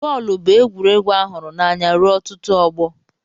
Bọọlụ bụ egwuregwu a hụrụ n'anya ruo ọtụtụ ọgbọ.